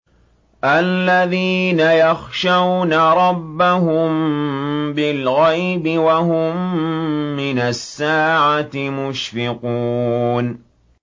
الَّذِينَ يَخْشَوْنَ رَبَّهُم بِالْغَيْبِ وَهُم مِّنَ السَّاعَةِ مُشْفِقُونَ